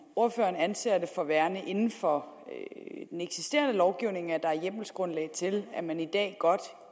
ordføreren anser det for værende inden for den eksisterende lovgivning at der er hjemmelsgrundlag til at man i dag godt